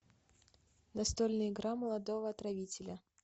настольная игра молодого отравителя